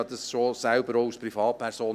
Ich erlebte dies auch schon als Privatperson.